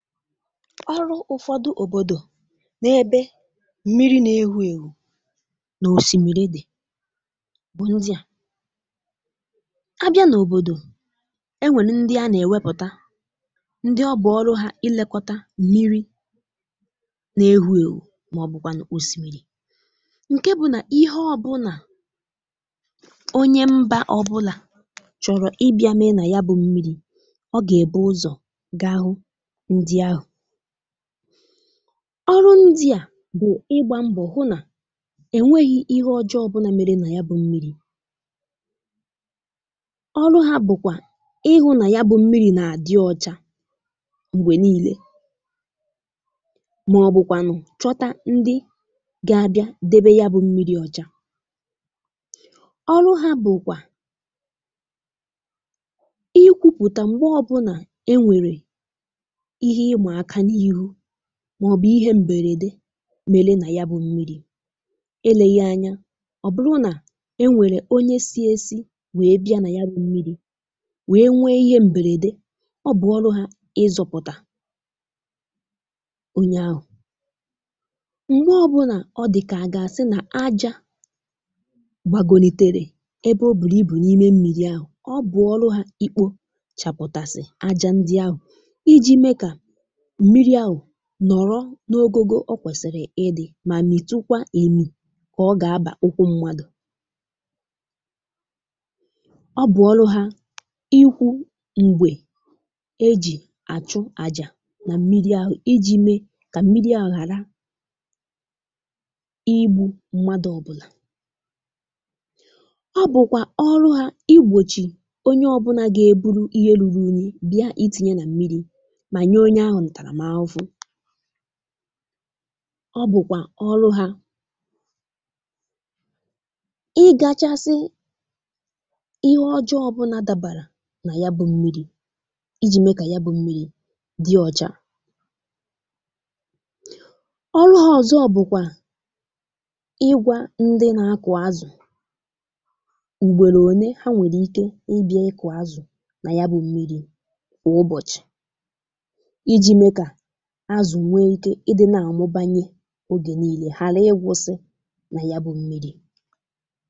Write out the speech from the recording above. Ọrụ ụfọdụ òbòdò n’ebe mmiri na-ewù èwù n’osìmìrì dị̀ bụ̀ ndị à, abịa n’òbòdò enwèlụ ndị a nà-èwepùta ndị ọ bụ̀ ọrụ hȧ ilekọtà mmiri na-ewù èwù màọ̀bụ̀kwànụ̀ osìmìrì, ǹke bụ̀ nà ihe ọ bụ̀nà onye mbà ọbụlà chọrọ ịbia mee nà ya bụ̇ mmiri̇ ọ gà-èbu ụzọ̀ gà hụ̀ụ̀ ndị ahụ, ọrụ ndị à bụ ịgbà mbọ̀ hụ nà enweghị ihe ọjọọ ọbụnà mere nà ya bụ̇ mmiri̇ ọrụ hȧ bụ̀kwa ịhụ nà ya bụ̇ mmiri̇ nà-adị ọcha mgbe niile màọ̀bụ̀kwànụ̀ chọta ndị gà-abịa debe ya bụ̇ mmiri̇ ọcha ọrụ hȧ bụ̀kwà ikwupụta mgbe ọ bụ̀nà enwe ihe ịmàaka n’ịhụ, màọ̀bụ̀ ihe m̀bèrèdè mere nà ya bụ̇ mmiri̇, eleghị anya ọ bụrụ̀ nà e nwèrè onye sị̇ė sị̇ wee bịa nà ya bụ̇ mmiri̇ wee nwee ihe m̀bèrèdè, ọ bụ̀ ọrụ hȧ ị zọ̇pụ̀tà onye ahụ̀, m̀gbe ọbụnà ọ dị̀kà à gà-àsị nà ajà gbagòlitere ebe ò bùrù ibù n’ime m̀miri̇ ahụ̀, ọ bụ̀ ọlụ̇ hȧ ikpochàpụ̀tà ajà ndị ahụ̀, iji mee kà mmiri̇ ahụ n’ọrọ̇ n’ogógo ọ kwesì̇rị̀ ịdị̇ mà mịtụkwa émì̇ kà ọ gà-abà ụkwụ mmadụ̀, ọ bụ̀ ọru hȧ ikwu mgbè e jì àchụ àjà nà mmiri̇ ahụ̀, iji̇ mee kà mmiri̇ ahụ hàra ígbu̇ mmadụ̇ ọbụ̀là, ọ bụ̀kwà ọru hȧ ìgbòchì onye ọbụ̀là gà-èburu ihe rùrù unyi bịa itì̇nyè nà mmiri̇ mà nye onye ahụ̀ ntàrà mà àhụhụ, ọ bụ̀kwà ọrụ hȧ ị gàchàsị ihe ọjọọ̇ bụ̀nà-dàbàrà nà ya bụ̇ mmiri̇ iji̇ mee kà ya bụ̇ mmiri̇ dị ọ̀chà ọrụ hȧ ọzọ̀ bụ̀kwà ìgwà ndị na-akụ̀ azụ̀ mgbèrè ònye ha nwèrè ike ịbia kụ̀ọ̀ azụ̀ nà ya bụ̇ mmiri̇ kà ụbọ̀chị̀, iji mee kà azụ̀ wèe ike ịdị nà-àmụ̀bànyè, ogè niile ghara ịgwụ̇sị̇ nà ya bụ̇ mmiri̇.